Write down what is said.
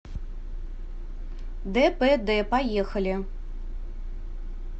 дпд поехали